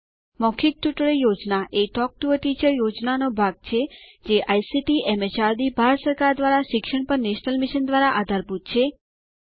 મૌખિક tutorial project એ talk to a teacher પ્રોજેક્ટનો ભાગ છેજે આઇસીટીએમએચઆરડીભારત સરકાર દ્વારા શિક્ષણ પર નેશનલ મિશન દ્વારા આધારભૂત છે